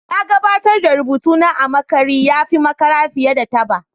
Na gabatar da rubutuna a makare ya fi makara fiye da taba